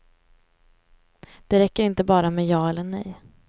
Det räcker inte bara med ja eller nej.